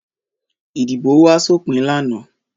Ìdìbò wá sópin lánàá?